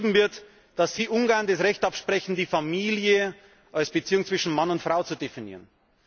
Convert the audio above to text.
wird dort Ungarn das Recht abgesprochen, die Familie als Beziehung zwischen Mann und Frau zu definieren.